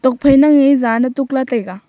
ho phai nang ee zaan ne tukla taiga.